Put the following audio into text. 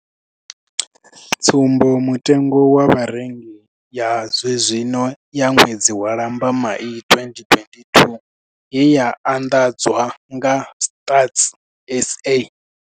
Tsumbo mutengo wa Vharengi ya zwenezwino ya ṅwedzi wa Lambamai 2022 ye ya anḓadzwa nga Stats SA.